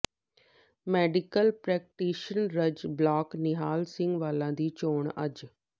medical practitioners block Nihal Singh Wala ਦੀ ਚੋਣ ਅੱਜ